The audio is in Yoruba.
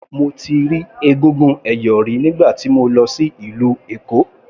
Mo ti rí egúngún ẹ̀yọ̀ rí nígbà tí mo lọ sí ìlú Èkó.